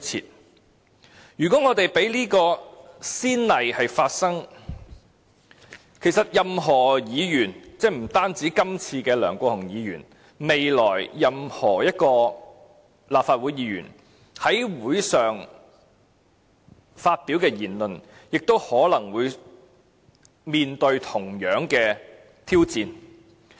所以，如果我們讓此先例一開，任何議員——不止今次的梁國雄議員——未來任何一名立法會議員在會議上發表的言論，亦可能會面對同樣挑戰。